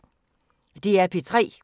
DR P3